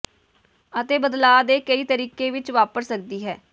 ਅਤੇ ਬਦਲਾਅ ਦੇ ਕਈ ਤਰੀਕੇ ਵਿੱਚ ਵਾਪਰ ਸਕਦੀ ਹੈ